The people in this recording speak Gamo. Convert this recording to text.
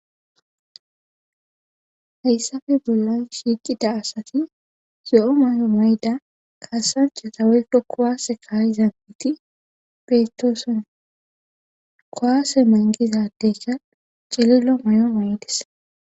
Hayssafe bollan shiiqida asati zo7o may7o mayda kasanchata weyko kowaase kaayi zam7iti petooson kowaase mangizadeyka cililo may7o may7des.